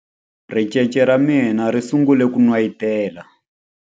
Ricece ra mina ri sungule ku n'wayitela.